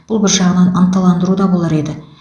бұл бір жағынан ынталандыру да болар еді